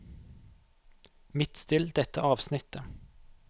Midtstill dette avsnittet